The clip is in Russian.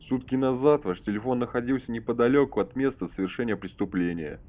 сутки назад ваш телефон находился неподалёку от места совершения преступления